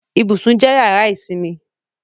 Ibùsùn jẹ́ yàrá ìsinmi